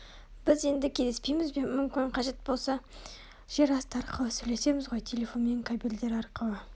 біз енді кездеспейміз бе мүмкін Қажет болса жер асты арқылы сөйлесеміз ғой телефонмен кабельдері арқылы